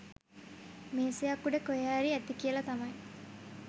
මේසයක් උඩ කොහෙ හරි ඇති කියලා තමයි